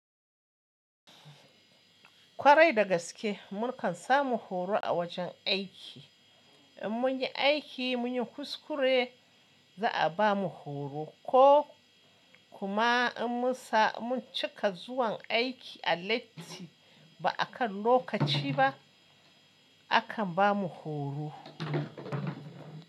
Kwarai da gaske mukan samu horo a wajen aiki. In mun yi aiki, mun yi kuskure za a bamu horo ko kuma in mun cika zuwan aiki a lati ba a kan lokaci ba, akan bamu horo.